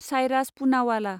Cyrus Poonawalla